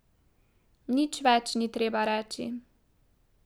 Nič več ni treba reči.